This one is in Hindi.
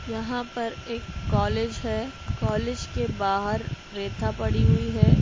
यहाँ पर एक कॉलेज है। कॉलेज के बाहर रेता पड़ी हुई है।